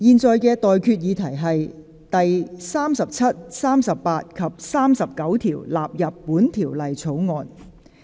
我現在向各位提出的待決議題是：第37、38及39條納入本條例草案。